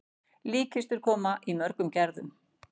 Líkkistur koma í mörgum gerðum.